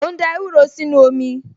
Mò ń da ewúro sínú omi